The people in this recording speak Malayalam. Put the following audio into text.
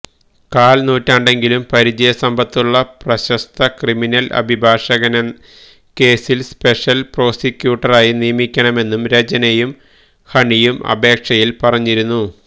കാല് നൂറ്റാണ്ടെങ്കിലും പരിചയസമ്പത്തുള്ള പ്രശസ്ത ക്രിമിനല് അഭിഭാഷകനെ കേസില് സ്പെഷല് പ്രോസിക്യൂട്ടറായി നിയമിക്കണമെന്നു രചനയും ഹണിയും അപേക്ഷയില് പറഞ്ഞിരുന്നു